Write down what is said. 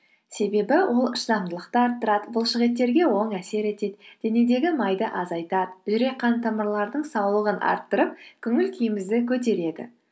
себебі ол шыдамдылықты арттырады бұлшықеттерге оң әсер етеді денедегі майды азайтады жүрек қан тамырлардың саулығын арттырып көңіл күйімізді көтереді